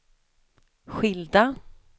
skilda